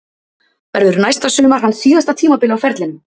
Verður næsta sumar hans síðasta tímabil á ferlinum?